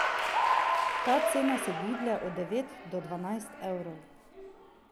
Ta cena se giblje od devet do dvanajst evrov.